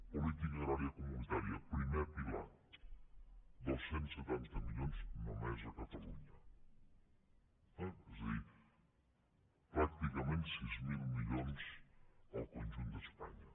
política agrària comunitària primer pilar dos cents i setanta milions només a catalunya és a dir pràcticament sis mil milions al conjunt d’espanya